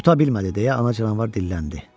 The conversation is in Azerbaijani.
Tutabilmədi deyə ana canavar dilləndi.